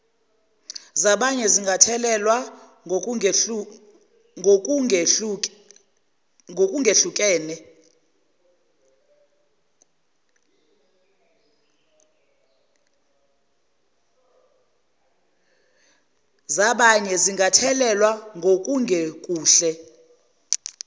zabanye zingathelelwa ngokungekuhle